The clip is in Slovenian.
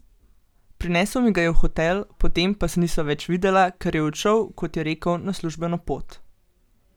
Prinesel mi ga je v hotel, potem pa se nisva več videla, ker je odšel, kot je rekel, na službeno pot.